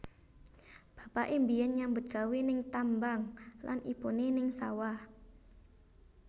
Bapaké mbiyen nyambut gawé ning tambang lan ibuné ning sawah